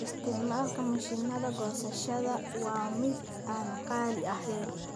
Isticmaalka mashiinnada goosashada waa mid aan qaali ahayn.